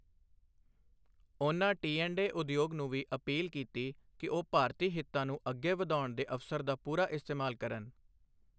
ਉਨ੍ਹਾਂ ਟੀਐਂਡਏ ਉਦਯੋਗ ਨੂੰ ਵੀ ਅਪੀਲ ਕੀਤੀ ਕਿ ਉਹ ਭਾਰਤੀ ਹਿੱਤਾਂ ਨੂੰ ਅੱਗੇ ਵਧਾਉਣ ਦੇ ਅਵਸਰ ਦਾ ਪੂਰਾ ਇਸਤੇਮਾਲ ਕਰਨ।